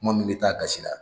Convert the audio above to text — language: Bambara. Kuma min bɛ taa a gasi la